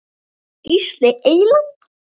Gísli Eyland.